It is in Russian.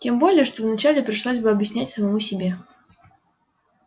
тем более что вначале пришлось бы объяснять самому себе